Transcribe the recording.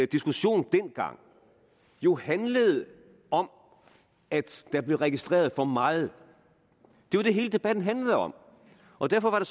diskussionen dengang jo handlede om at der blev registreret for meget det var det hele debatten handlede om og derfor var det